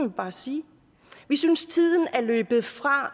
bare sige vi synes tiden er løbet fra